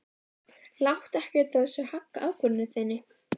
Láttu ekkert af þessu hagga ákvörðun þinni.